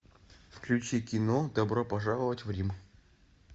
включи кино добро пожаловать в рим